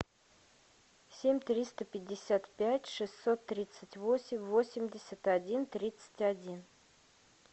семь триста пятьдесят пять шестьсот тридцать восемь восемьдесят один тридцать один